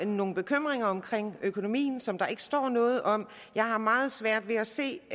nogle bekymringer omkring økonomien som der ikke står noget om jeg har meget svært ved at se